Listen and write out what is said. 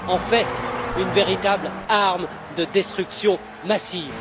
En fait, une véritable arme de destruction massive.